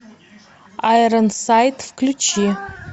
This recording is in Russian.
айрон сайт включи